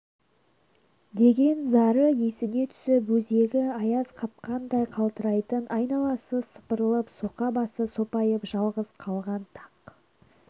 деген зары есіне түсіп өзегі аяз қапқандай қалтырайтын айналасы сыпырылып соқа басы сопайып жалғыз қалған тақ